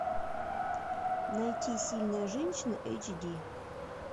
найти сильная женщина эйч ди